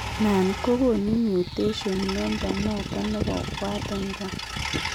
Naan kogonu mutations mnyondo noton nebo Waardenburg